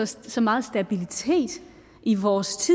så så meget stabilitet i vores